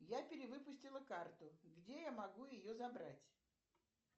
я перевыпустила карту где я могу ее забрать